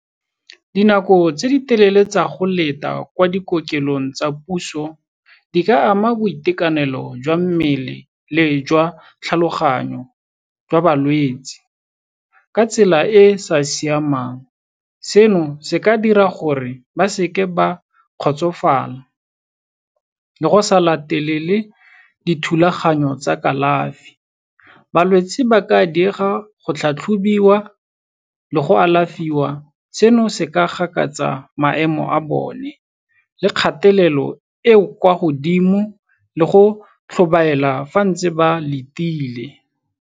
Dinako tse di telele tsa go leta kwa dikokelong tsa puso, di ka ama boitekanelo jwa mmele le jwa tlhaloganyo jwa balwetsi, ka tsela e e sa siamang. Seno se ka dira gore ba seke ba kgotsofala, le go sa latelele dithulaganyo tsa kalafi. Balwetsi ba ka diega go tlhatlhobiwa le go alafiwa, seno se ka gakatsa maemo a bone le kgatelelo e e kwa godimo le go tlhobaela fa bantse ba letile.